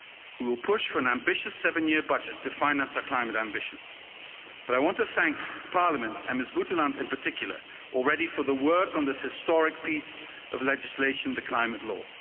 We will push for an ambitious seven-year budget to finance our climate ambitions, but I want to thank Parliament, and Ms Guteland in particular, already for the work on this historic piece of legislation, the Climate Law.